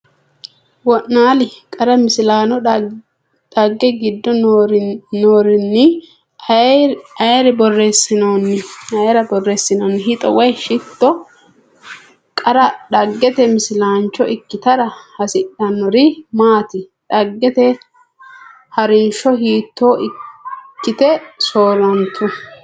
wo’naali? Qara Misilaano Dhagge giddo roorinni ayre borreessinoonni? Hexxo woy Shetto Qara dhaggete misilaancho ikkitara hasidhinori maati? Dhaggete ha’rinsho hiitto ikkite soorrantu?